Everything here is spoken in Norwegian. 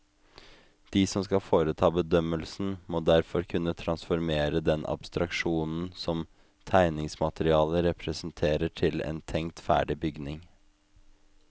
De som skal foreta bedømmelsen, må derfor kunne transformere den abstraksjonen som tegningsmaterialet representerer til en tenkt ferdig bygning.